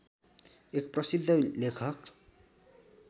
एक प्रसिद्ध लेखक